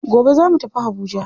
Gobe zamu tafi habuja.